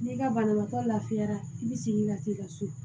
N'i ka banabaatɔ lafiyara i bi sigi ka t'i ka so